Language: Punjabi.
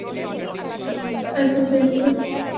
ਅੱਛਾ ਅੱਛਾ ਇੱਕੋ ਏ